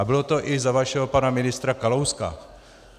A bylo to i za vašeho pana ministra Kalouska.